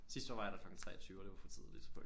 Sidste år var jeg der klokken 23 og det var for tidligt